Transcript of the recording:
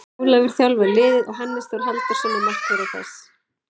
Ólafur þjálfar liðið og Hannes Þór Halldórsson er markvörður þess.